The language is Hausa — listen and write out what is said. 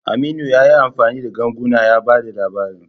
Aminu ya yi amfani da ganguna ya ba da labarin.